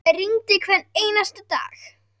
Það rigndi hvern einasta dag.